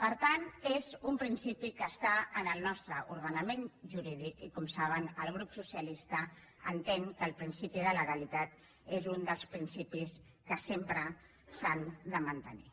per tant és un principi que està en el nostre ordenament jurídic i com saben el grup socialista entén que el principi de legalitat és un dels principis que sempre s’han de mantenir